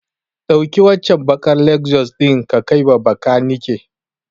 Ɗauki waccen baƙar Lexus ɗin ka kaiwa bakanike.